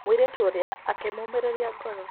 Mwĩiritu ũrĩa akĩmũmĩrĩria ngoro.